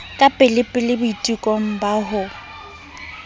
ka pelepele boitekong ba ho